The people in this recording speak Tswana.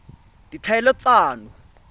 ditlhaeletsano